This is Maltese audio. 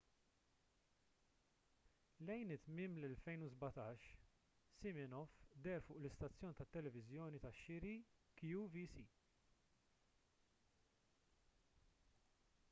lejn tmiem l-2017 siminoff deher fuq l-istazzjon tat-televiżjoni tax-xiri qvc